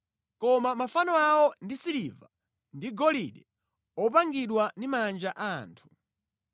Koma mafano awo ndi siliva ndi golide, opangidwa ndi manja a anthu.